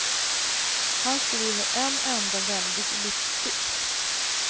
Han skriver en enda väldig livsdikt.